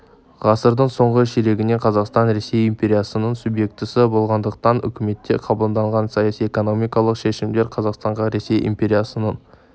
ғасырдың соңғы ширегінде қазақстан ресей империясының субъектісі болғандықтан үкіметте қабылданған саяси-экономикалық шешімдер қазақстанға ресей империясының